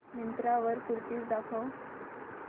मिंत्रा वर कुर्तीझ दाखव